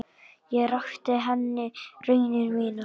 Ég rakti henni raunir mínar.